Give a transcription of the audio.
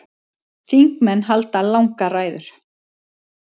Þingmenn halda langar ræður.